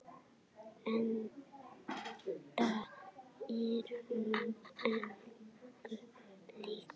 Enda er hún engu lík.